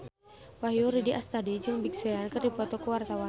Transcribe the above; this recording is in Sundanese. Wahyu Rudi Astadi jeung Big Sean keur dipoto ku wartawan